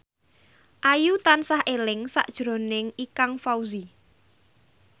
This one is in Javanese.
Ayu tansah eling sakjroning Ikang Fawzi